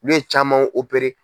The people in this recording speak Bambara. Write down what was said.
Ulu camanw